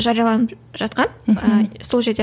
жарияланып жатқан сол жерде